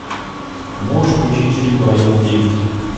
можешь включить фильм район девять